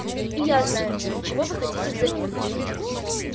и я знаю чего вы хотите взамен